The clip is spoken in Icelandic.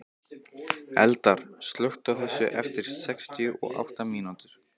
Eldar, slökktu á þessu eftir sextíu og átta mínútur.